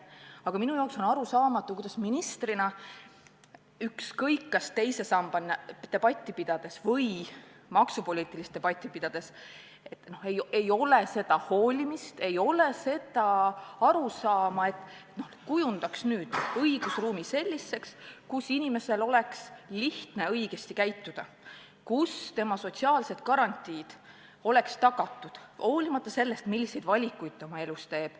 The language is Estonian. Aga minu jaoks on arusaamatu, kuidas ministril, ükskõik, kas teise samba debatti pidades või maksupoliitilist debatti pidades, ei ole seda hoolimist, ei ole seda arusaama, et püüda kujundada õigusruumi selliseks, kus inimesel oleks lihtne õigesti käituda, kus tema sotsiaalsed garantiid oleks tagatud olenemata sellest, milliseid valikuid ta oma elus teeb.